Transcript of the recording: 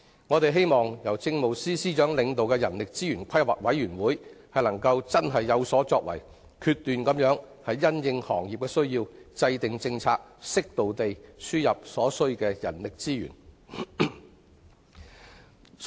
我們希望由政務司司長領導的人力資源規劃委員會能有所作為，因應行業的需要，果斷制訂政策，適度輸入所需的人力資源。